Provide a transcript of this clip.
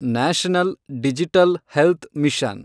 national digital health mission